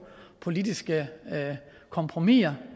politiske kompromiser